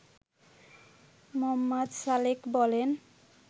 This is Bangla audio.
মো. সালেক বলেন